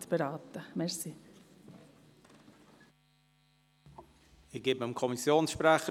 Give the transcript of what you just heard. Ich gebe dem Kommissionssprecher, Grossrat Aebi, das Wort.